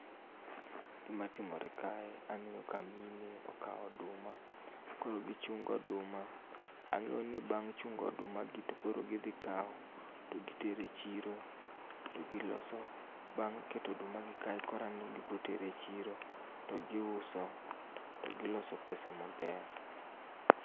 Gima timore kae, aneno ka mine okao oduma. Koro gichungo oduma. Angéyo ni bang' chungo oduma gi to koro gidhi kawo to gitero e chiro, to giloso, bang' keto oduma gi kae, koro gibro tero e chiro, to giuso, to giloso pesa maber.